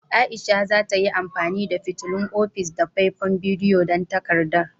Aisha za ta yi amfani da fitilun ofis da faifan bidiyo don takardar.